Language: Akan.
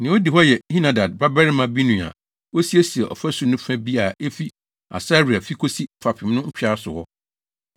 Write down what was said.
Nea odi hɔ yɛ Henadad babarima Binui a osiesiee ɔfasu no fa bi a efi Asaria fi kosi fapem no ntwea so hɔ.